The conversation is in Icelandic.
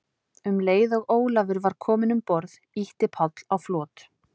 Um leið og Ólafur var kominn um borð, ýtti Páll á flot.